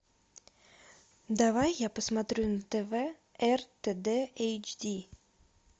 давай я посмотрю на тв ртд эйч ди